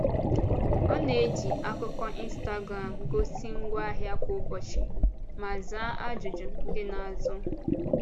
Ọ na-eji akụkọ Instagram gosi ngwaahịa kwa ụbọchị ma zaa ajụjụ ndị na-azụ.